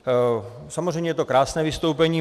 Samozřejmě je to krásné vystoupení.